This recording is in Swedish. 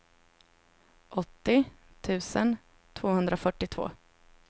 åttio tusen tvåhundrafyrtiotvå